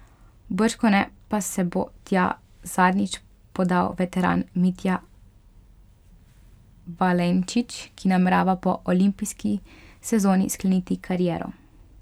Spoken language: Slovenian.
Bržkone pa se bo tja zadnjič podal veteran Mitja Valenčič, ki namerava po olimpijski sezoni skleniti kariero.